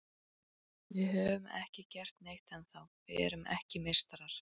Við höfum ekki gert neitt ennþá, við erum ekki meistarar.